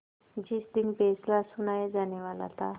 जिस दिन फैसला सुनाया जानेवाला था